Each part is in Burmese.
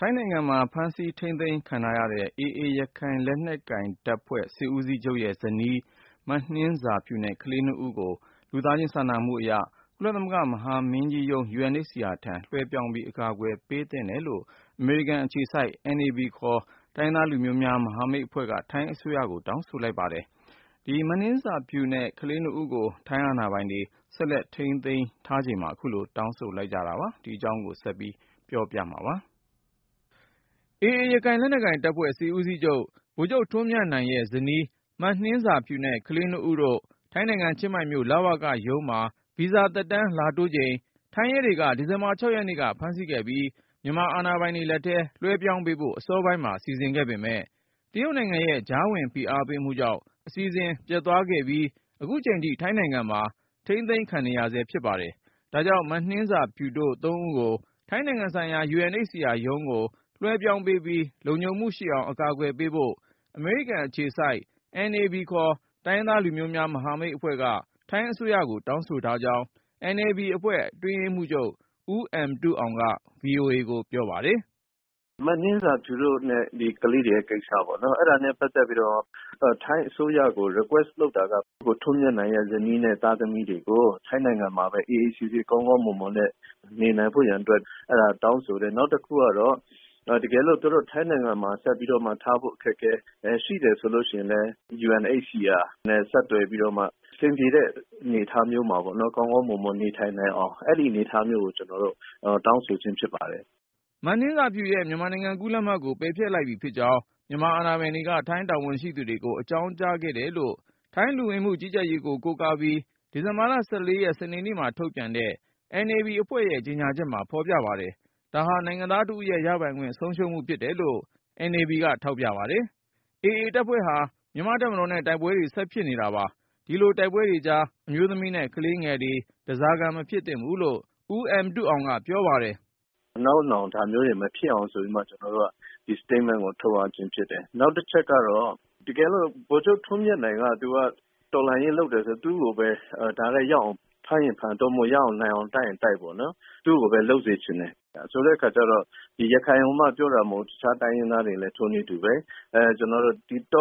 ထိုင်းနိုင်ငံမှာ ဖမ်းဆီးထိန်းသိမ်းခံထားရတဲ့ AA ရခိုင်လက်နက်ကိုင်တပ်ဖွဲ့ စစ်ဦးစီးချုပ်ရဲ့ဇနီး မနှင်းဇာဖြူနဲ့ ကလေးနှစ်ဦးအမှုကို လူသားချင်း စာနာမှုအရ ကုလသမဂ္ဂ မဟာမင်းကြီးရုံး UNHCR ထံ လွှဲပြောင်းပြီး အကာအကွယ် ပေးသင့်တယ်လို့ အမေရိကန်အခြေစိုက် NAB ခေါ် တိုင်းရင်းသားလူမျိုးများ မဟာမိတ်အဖွဲ့က ထိုင်းအစိုးရကို တောင်းဆိုလိုက်ပါတယ်။ မနှင်းဇာဖြူနဲ့ ကလေးနှစ်ဦးကို ထိုင်းအာဏာပိုင်တွေ ဆက်လက်ထိန်းသိမ်းထားချိန်မှာ အခုလို တောင်းဆိုလိုက်ကြတာပါ။ ဒီအကြောင်း ကိုဉာဏ်ဝင်းအောင်က ပြောပြပါမယ်။ AA ရခိုင်လက်နက်ကိုင်တပ်ဖွဲ့ စစ်ဦးစီးချုပ် ဗိုလ်ချုပ်ထွန်းမြတ်နိုင်ရဲ့ဇနီး မနှင်းဇာဖြူနဲ့ ကလေးနှစ်ဦးတို့ ထိုင်းနိုင်ငံ ချင်းမိုင်မြို့ လဝကရုံးမှာ ဗီဇာသက်တမ်းလာတိုးချိန် ထိုင်းရဲတွေက ဒီဇင်ဘာ ၆ ရက်နေ့က ဖမ်းဆီးခဲ့ပြီး မြန်မာအာဏာပိုင်တွေလက်ထဲ လွှဲပြောင်းပေးဖို့ အစောပိုင်းမှာ စီစဉ်ခဲ့ပေမယ့် တရုတ်နိုင်ငံရဲ့ ကြားဝင် ဖိအားပေးမှုကြောင့် အစီအစဉ် ပျက်သွားခဲ့ပြီး အခုချိန်ထိ ထိုင်းနိုင်ငံမှာ ထိန်းသိမ်းခံနေရဆဲ ဖြစ်ပါတယ်။ ဒါကြောင့် မနှင်းဇာဖြူတို့ သုံးဦးအမှုကို ထိုင်းနိုင်ငံဆိုင်ရာ UNHCR ရုံးကို လွှဲပြောင်းပေးပြီး လုံခြုံမှုရှိအောင် အကာအကွယ်ပေးဖို့ အမေရိကန်အခြေစိုက် NAB ခေါ် တိုင်းရင်းသားလူမျိုးများ မဟာမိတ်အဖွဲ့က ထိုင်းအစိုးရကို တောင်းဆိုထားကြောင်း NAB အဖွဲ့ အတွင်းရေးမှူးချုပ် ဦးအမ်တုအောင်က ဗွီအိုအေကို ပြောပါတယ်။ “မနှင်းဇာဖြူနဲ့ ကလေးတွေရဲ့ ကိစ္စပေါ့၊ အဲဒါနဲ့ ပတ်သက်ပြီးတော့ ထိုင်းအစိုးရကို Request လုပ်တာက ဗိုလ်ချုပ်ထွန်းမြတ်နိုင်ရဲ့ ဇနီးနဲ့ သားသမီးတွေကို ထိုင်းနိုင်ငံမှာပဲ အေးအေးဆေးဆေး ကောင်းကောင်းမွန်မွန်နဲ့ နေနိုင်ဖို့ရာအတွက် တောင်းဆိုတယ်။ နောက်တခုကတော့ တကယ်လို့ သူတို့ ထိုင်းနိုင်ငံမှာ ဆက်ထားဖို့ အခက်အခဲရှိတယ် ဆိုရင်လည်း UNHCR နဲ့ ဆက်သွယ်ပြီးတော့မှ အဆင်ပြေတဲ့ အနေအထားမျိုးမှာ ကောင်းကောင်းမွန်မွန် နေထိုင်နိုင်အောင် အဲဒီအနေအထားမျိုးကို ကျနော်တို့ တောင်းဆိုခြင်း ဖြစ်ပါတယ်။” မနှင်းဇာဖြူရဲ့ မြန်မာနိုင်ငံကူးလက်မှတ်ကို ပယ်ဖျက်လိုက်ပြီဖြစ်ကြောင်း မြန်မာအာဏာပိုင်တွေက ထိုင်းတာဝန်ရှိသူတွေကို အကြောင်းကြားခဲ့တယ်လို့ ထိုင်းလူဝင်မှုကြီးကြပ်ရေးကို ကိုးကားပြီး ဒီဇင်ဘာ ၁၄ ရက် စနေနေ့မှာ ထုတ်ပြန်တဲ့ NAB အဖွဲ့ရဲ့ ကြေညာချက်မှာ ဖော်ပြပါတယ်။ ဒါဟာ နိုင်ငံသားတဦးရဲ့ ရပိုင်ခွင့် ဆုံးရှုံးမှုဖြစ်တယ်လို့ NAB က ထောက်ပြပါတယ်။ AA တပ်ဖွဲ့ဟာ မြန်မာ့တပ်မတော်နဲ့ တိုက်ပွဲတွေ ဆက်ဖြစ်နေတာပါ။ ဒီလို တိုက်ပွဲတွေကြား အမျိုးသမီးနဲ့ ကလေးငယ်တွေ ဓားစားခံ မဖြစ်သင့်ဘူးလို့ ဦးအမ်တုအောင်က ပြောပါတယ်။ “နောက်နောင် ဒါမျိုးတွေမဖြစ်အောင် ဆိုပြီးမှ ကျနော်တို့က ဒီ Statement ကို ထုတ်ရခြင်းဖြစ်တယ်။ နောက်တချက်ကတော့ တကယ်လို့ ဗိုလ်ချုပ်ထွန်းမြတ်နိုင်က တော်လှန်ရေးလုပ်တယ်ဆို သူ့ကိုပဲ တိုက်ရိုက်ရောက်အောင် ဖမ်းရင်ဖမ်း၊ သို့မဟုတ် ရအောင် နိုင်အောင် တိုက်ရင်တိုက်ပေါ့နော်။ သူ့ကိုပဲ လုပ်စေချင်တယ်။ ဆိုတဲ့အခါကျတော့ ဒီ ရခိုင်ကိုမှ ပြောတာမဟုတ်ဘူး၊ တခြားတိုင်းရင်းသားတွေလည်း ထိုနည်းတူပဲ။ တော်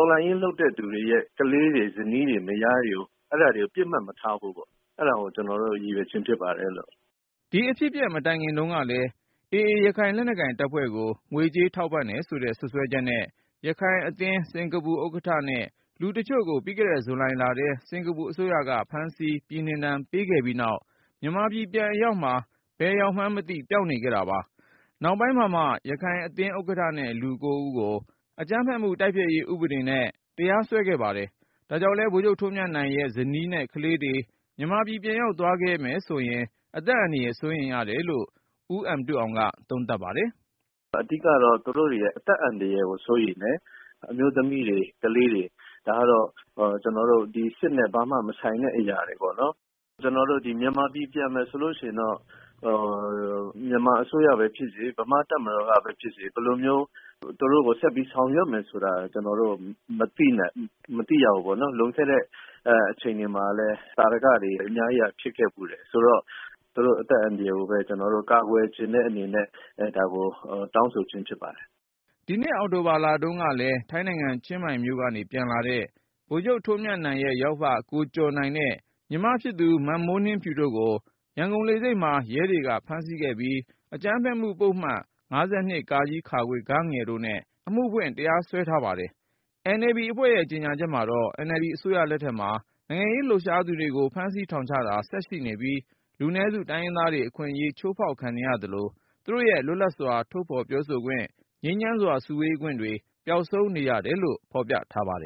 လှန်ရေးလုပ်တဲ့သူတွေရဲ့ ကလေးတွေ ဇနီးတွေ မယားတွေကို ပစ်မှတ်မထားဖို့ပေ့ါ။ အဲဒါကို ကျနော်တို့ ရည်ရွယ်ခြင်းဖြစ်ပါတယ်။” ဒီအဖြစ်အပျက် မတိုင်ခင်တုန်းကလည်း AA ရခိုင်လက်နက်ကိုင်တပ်ဖွဲ့ကို ငွေကြေးထောက်ပံ့တယ်ဆိုတဲ့ စွပ်စွဲချက်နဲ့ ရခိုင်အသင်း ဥက္ကဋ္ဌနဲ့ လူတချို့ကို ပြီးခဲ့တဲ့ ဇူလိုင်လထဲ စင်ကာပူအစိုးရက ဖမ်းဆီး ပြည်နှင်ဒဏ် ပေးခဲ့ပြီးနောက် မြန်မာပြည်ပြန်အရောက်မှာ ဘယ်ရောက်နေမှန်းမသိ ပျောက်နေခဲ့တာပါ။ နောက်ပိုင်းမှာမှ ရခိုင်အသင်းဥက္ကဋ္ဌနဲ့ လူ ၉ ဦးကို အကြမ်းဖက်မှု တိုက်ဖျက်ရေး ဥပဒေနဲ့ တရားစွဲခဲ့ပါတယ်။ ဒါကြောင့်လည်း ဗိုလ်ချုပ်ထွန်းမြတ်နိုင်ရဲ့ ဇနီးနဲ့ ကလေးတွေ မြန်မာပြည် ပြန်ရောက်သွားခဲ့မယ်ဆိုရင် အသက်အန္တရာယ် စိုးရိမ်ရတယ်လို့ ဦးအမ်တုအောင်က သုံးသပ်ပါတယ်။ “အဓိကတော့ သူတို့တွေရဲ့ အသက်အန္တရာယ်ကို စိုးရိမ်တယ်။ အမျိုးသမီးတွေ ကလေးတွေ ဒါကတော့ စစ်နဲ့ ဘာမှမဆိုင်တဲ့ အရာတွေပေါ့နော်။ ကျနော်တို့ မြန်မာပြည် ပြန်မယ်ဆိုရင်တော့ မြန်မာအစိုးရပဲဖြစ်စေ ဗမာ့တပ်မတော်ကပဲဖြစ်စေ ဘယ်လိုမျိုး သူတို့ကို ဆက်ပြီး ဆောင်ရွက်မယ်ဆိုတာ ကျနော်တို့ မသိရဘူးပေါ့နော်။ လွန်ခဲ့တဲ့ အချိန်တွေမှာလည်း သာဓကတွေ အများကြီး ဖြစ်ခဲ့ဖူးတယ်။ ဆိုတော့ သူတို့ အသက်အန္တရာယ်ကိုပဲ ကျနော်တို့ ကာကွယ်ချင်တဲ့အနေနဲ့ ဒါကို တောင်းဆိုခြင်း ဖြစ်ပါတယ်။” ဒီနှစ် အောက်တိုဘာလတုန်းကလည်း ထိုင်းနိုင်ငံ ချင်းမိုင်မြို့ကနေ ပြန်လာတဲ့ ဗိုလ်ချုပ်ထွန်းမြတ်နိုင်ရဲ့ ယောက်ဖ ကိုကျော်နိုင်နဲ့ ညီမ မမိုးနှင်းဖြူတို့ကို ရန်ကုန်လေဆိပ်မှာ ရဲကဖမ်းဆီးခဲ့ပြီး အကြမ်းဖက်မှုပုဒ်မ ၅၂ တို့နဲ့ အမှုဖွင့် တရားစွဲထားပါတယ်။ NAB အဖွဲ့ရဲ့ ကြေညာချက်မှာတော့ NLD အစိုးရလက်ထက်မှာ နိုင်ငံရေးလှုပ်ရှားသူတွေကို ဖမ်းဆီးထောင်ချတာ ဆက်ရှိနေပြီး လူနည်းစု တိုင်းရင်းသားတွေ အခွင့်အရေး ချိုးဖောက်ခံနေရသလို သူတို့ရဲ့ လွတ်လပ်စွာ ထုတ်ဖော်ပြောဆိုခွင့်၊ ငြိမ်းချမ်းစွာ စုဝေးခွင့်တွေ ပျောက်ဆုံးနေရတယ်လို့ ဖော်ပြထားပါတယ်